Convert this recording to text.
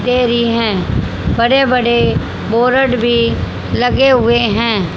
दे री है बड़े बड़े बोरर्ड भी लगे हुए है।